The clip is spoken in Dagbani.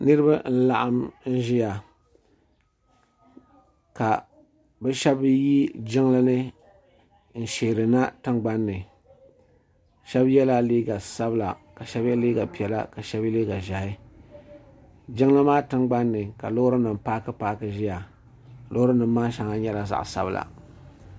Niribi n laɣim n ʒbiya. kabi shabi yi jiŋlini n sheerina tiŋgbanni. shebi yela liiga sabila kashebi ye liiga piɛla.ka shebi yeliiga ʒɛhi jiŋli maa tiŋ gban ni ka lɔɔrinim paakipaaki nʒɛya lɔɔrim maa shaŋa nyɛla zaɣi zaɣisabila.